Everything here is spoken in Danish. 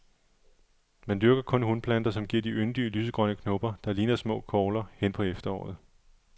Man dyrker kun hunplanter, som giver de yndige lysegrønne kopper, der ligner små kogler, hen på efteråret.